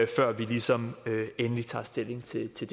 før vi ligesom endelig tager stilling til til